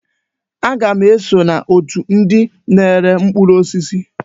Aga m eso n'otù ndị na-ere mkpụrụ osisi.